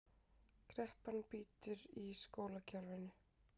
Kreppan bítur í skólakerfinu